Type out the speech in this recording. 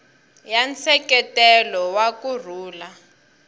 ya nseketelo wa ku rhula